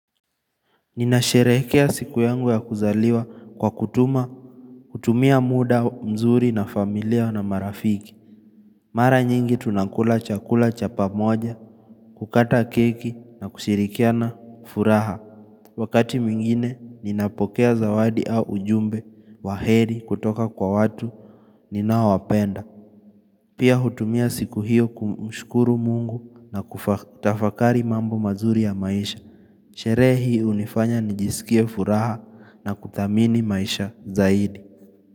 Ninasherehrkea siku yangu ya kuzaliwa kwa kutuma, kutumia muda mzuri na familia na marafiki Mara nyingi tunakula chakula chapa moja, kukata keki na kushirikia na furaha Wakati mwingine, ninapokea zawadi au ujumbe wa heri kutoka kwa watu, ninao wapenda Pia hutumia siku hiyo kumushkuru mungu na kutafakari mambo mazuri ya maisha Sherehe hii hunifanya nijisikie furaha na kuthamini maisha zaidi.